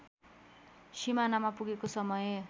सिमानामा पुगेको समय